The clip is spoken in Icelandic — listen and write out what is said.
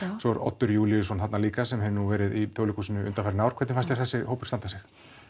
svo er Oddur Júlíusson þarna líka sem hefur nú verið í leikhúsinu undanfarin ár hvernig fannst þér hópurinn standa sig